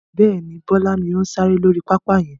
Bẹ́ẹ̀ni, Bọlá ni ó ń sáré lórí pápá yẹn